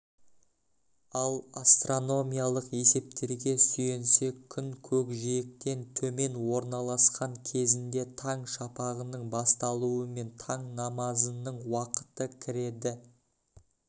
ал астрономиялық есептерге сүйенсек күн көкжиектен төмен орналасқан кезінде таң шапағының басталуымен таң намазының уақыты кіреді